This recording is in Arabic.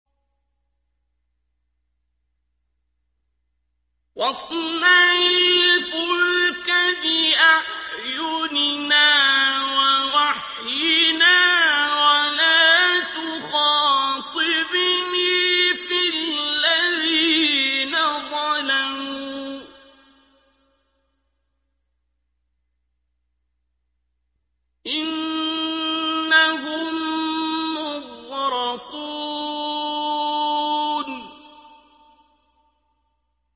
وَاصْنَعِ الْفُلْكَ بِأَعْيُنِنَا وَوَحْيِنَا وَلَا تُخَاطِبْنِي فِي الَّذِينَ ظَلَمُوا ۚ إِنَّهُم مُّغْرَقُونَ